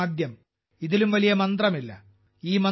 രാജ്യം ആദ്യം ഇതിലും വലിയ മന്ത്രമില്ല